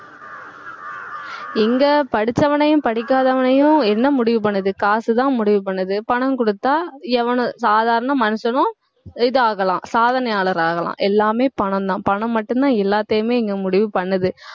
எங்க படிச்சவனையும் படிக்காதவனையும் என்ன முடிவு பண்ணுது காசுதான் முடிவு பண்ணுது பணம் குடுத்தா எவனும் சாதாரண மனுஷனும் இதாகலாம் சாதனையாளர் ஆகலாம் எல்லாமே பணம்தான் பணம் மட்டும்தான் எல்லாத்தையுமே இங்க முடிவு பண்ணுது